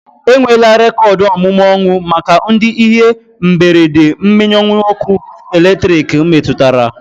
Enwela rekoodu omume ọnwụ maka ndị ihe mberede mmenyeujọ ọkụ elektriki metụtara